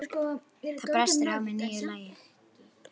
Það brestur á með nýju lagi.